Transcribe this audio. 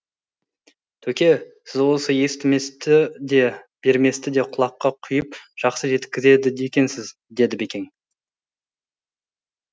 төке сіз осы естіместі де берместі де құлаққа құйып жақсы жеткізеді екенсіз деді бекең